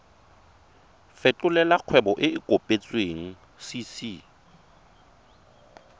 fetolela kgwebo e e kopetswengcc